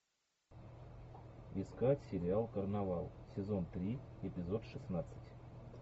искать сериал карнавал сезон три эпизод шестнадцать